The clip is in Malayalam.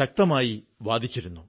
ശക്തമായി വാദിച്ചിരുന്നു